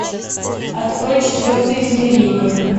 открой четвертое измерение